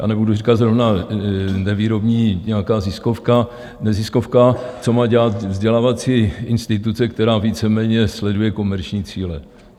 já nebudu říkat zrovna nevýrobní, nějaká ziskovka... neziskovka, co má dělat vzdělávací instituce, která víceméně sleduje komerční cíle.